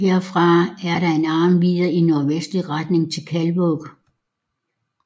Herfra er der en arm videre i nordvestlig retning til Kaldvåg